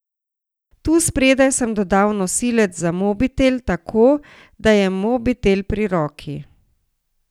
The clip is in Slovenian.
Tu spredaj sem dodal nosilec za mobitel, tako, da je mobitel pri roki.